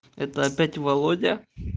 это опять володя